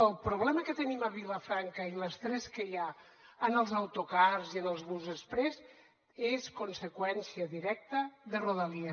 el problema que tenim a vilafranca i l’estrès que hi ha en els autocars i en els bus exprés és conseqüència directa de rodalies